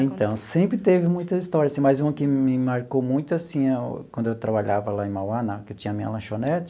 É, então, sempre teve muita história assim, mas uma que me marcou muito, assim, quando eu trabalhava lá em Mauá na, que eu tinha minha lanchonete,